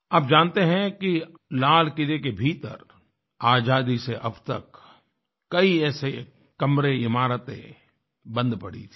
आप जानते हैं कि लाल किले के भीतर आज़ादी से अब तक कई ऐसे कमरे इमारतें बंद पड़ी थी